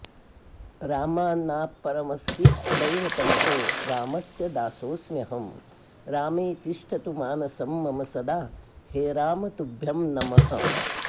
रामान्नापरमस्ति दैवतमहो रामस्य दासोऽस्म्यहं रामे तिष्ठतु मानसं मम सदा हे राम तुभ्यं नमः